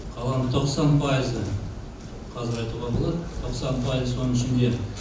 қаланың тоқсан пайызы қазір айтуға болады тоқсан пайызы соның ішінде